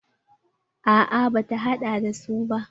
A'a bata haɗa da su ba.